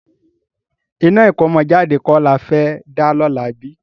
Iná ìkómọjáde kọ́ la fẹ́ dá lọ́la bí?